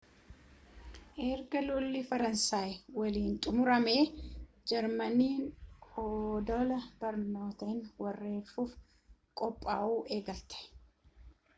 erga lolli faransaayii waliinii xumuramee jarmaniin odola biriiteen weeraruuf qophaa'uu eegalte